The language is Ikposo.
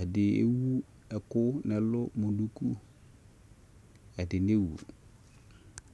ɛdɩ ewʊ ɛkʊ nʊ ɛlʊ kʊ ɛdɩ newʊ